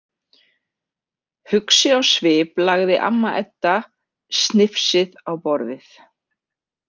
Hugsi á svip lagði amma Edda snifsið á borðið.